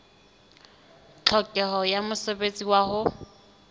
tlhokeho ya mosebetsi wa ho